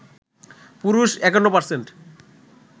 পুরুষ ৫১%